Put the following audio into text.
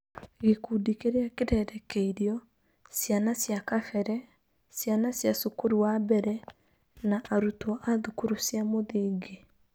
Gĩkundi kĩrĩa kĩrerekeirio: Ciana cia kabere, ciana cia cukuru wa mbere, na arutwo a thukuru cia mũthingi.